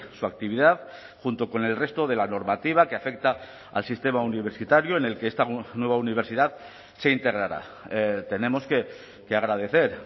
su actividad junto con el resto de la normativa que afecta al sistema universitario en el que esta nueva universidad se integrará tenemos que agradecer